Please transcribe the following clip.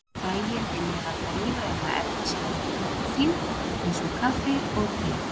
Fræin innihalda lífræna efnasambandið koffín, eins og kaffi og te.